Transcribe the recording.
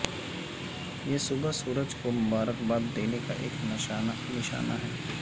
یہ صبح سورج کو مبارکباد دینے کا ایک نشانہ ہے